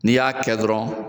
N'i y'a kɛ dɔrɔn